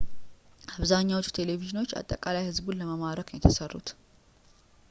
አብዛኛዎቹ ቴሌቪዥኖች አጠቃላይ ሕዝቡን ለመማረክ ነው የተሠሩት